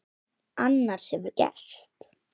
Annað eins hefur gerst!